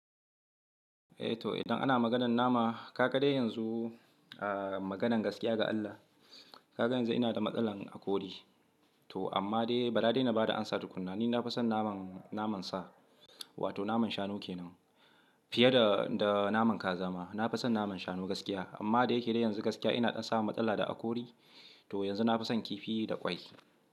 Eh to idan ana maganan nama ka ga dai yanzu, ah maganan gaskiya ga Allah, ka ga yanzu ina da matsala hakure. To amma dai ba dadi na bada amsa tukuna, ni na fi son naman, naman sa wato naman shanu kenan fiye da, da naman ƙazama. Na fi son naman shanu gaskiya amma da yake da yanzu gaskiya ina samun matsala da akori. To yanzu na fi son kifi da ƙwai.